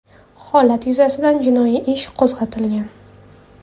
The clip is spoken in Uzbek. Holat yuzasidan jinoiy ish qo‘zg‘atilgan.